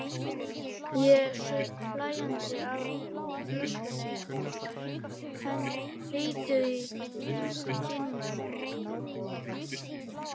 Ég saup hlæjandi á flöskunni, heitur í kinnum.